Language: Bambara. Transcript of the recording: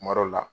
Kuma dɔ la